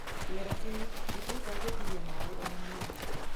Kĩmera kĩu gĩtihotaga gwĩtiria maĩ o na hanini